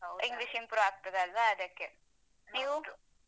English improve ಆಗ್ತದಲ್ವಾ ಅದಕ್ಕೆ ನೀವು?